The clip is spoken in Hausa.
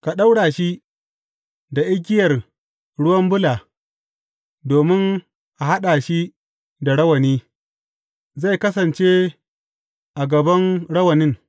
Ka ɗaura shi da igiyar ruwa bula domin a haɗa shi da rawani; zai kasance a gaban rawanin.